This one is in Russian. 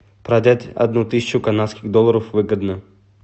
продать одну тысячу канадских долларов выгодно